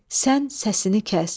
Sən səsini kəs.